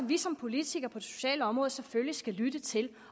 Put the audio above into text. vi som politikere på det sociale område selvfølgelig skal lytte til